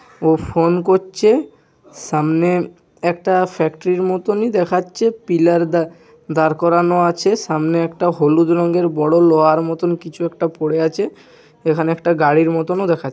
ও phone করছে সামনে একটা ফ্যাক্টরি -র মতনই দেখাচ্ছে পিলার দা-দাঁড় করানো আছে সামনে একটা হলুদ রঙের বড় লোহার মতন কিছু একটা পড়ে আছে এখানে একটা গাড়ির মতোনও দেখা--